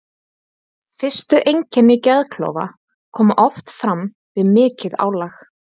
Fyrstu einkenni geðklofa koma oft fram við mikið álag.